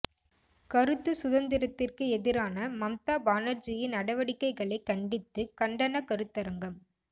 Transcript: கருத்து சுதந்திரத்திற்கு எதிரான மம்தா பானர்ஜியின் நடவடிக்கைகளை கண்டித்து கண்டனக் கருத்தரங்கம்